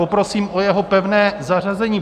Poprosím o jeho pevné zařazení.